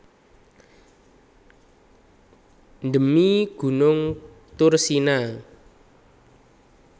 Dhemi gunung Thursina